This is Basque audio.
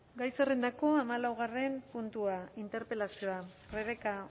gai zerrendako hamalau puntua interpelazioa rebeka